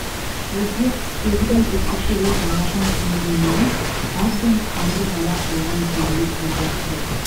өзге құсбегідей бүркітті ол балапан күнінен емес әбден қанды балақ болған кезінде торға түсіретін